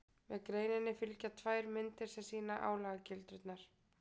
Með greininni fylgja tvær myndir sem sýna álagildrurnar.